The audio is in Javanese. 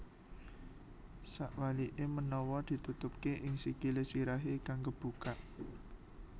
Sakwalike menawa ditutupke ing sikile sirahe kang kebuka